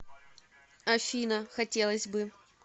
афина хотелось бы